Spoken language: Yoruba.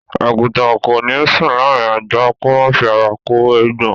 Àgùtàn kò ní sùn láàrín ajá, kó má fi ara kó eégbọn.